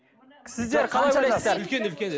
сіздер қалай ойлайсыздар үлкен үлкен